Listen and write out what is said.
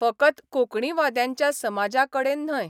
फकत कोंकणीवाद्यांच्या समाजाकडेन न्हय.